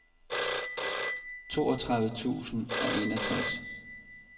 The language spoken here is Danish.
toogtredive tusind og enogtres